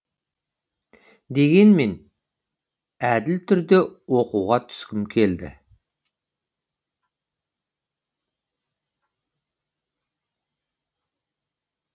дегенмен әділ түрде оқуға түскім келді